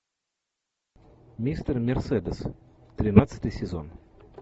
мистер мерседес тринадцатый сезон